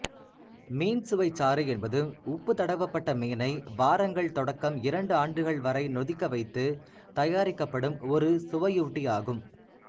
மீன் சுவைச்சாறு என்பது உப்புத் தடவப்பட்ட மீனை வாரங்கள் தொடக்கம் இரண்டு ஆண்டுகள் வரை நொதிக்கவைத்துத் தயாரிக்கப்படும் ஒரு சுவையூட்டியாகும்